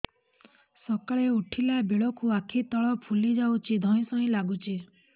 ସକାଳେ ଉଠିଲା ବେଳକୁ ଆଖି ତଳ ଫୁଲି ଯାଉଛି ଧଇଁ ସଇଁ ଲାଗୁଚି